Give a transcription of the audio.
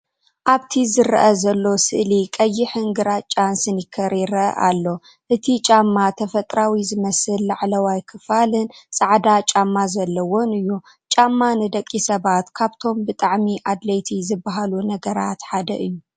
ኣብቲ ዝረአ ዘሎ ስእሊ ቀይሕን ግራጭን ስኒከር ይረአ ኣሎ። እቲ ጫማ ተፈጥሮኣዊ ዝመስል ላዕለዋይ ክፋልን ጻዕዳ ጫማ ዘለዎን እዩ። ጫማ ንደቂ ሰባት ካብቶም ብጣዕሚ ኣድለየቲ ዝበሃሉ ነገራት ሓደ እዩ።